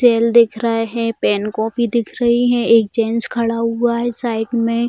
Tell दिख रहे है पेन कॉपी दिख रही है एक जेंट्स खड़ा हुआ है साइड में।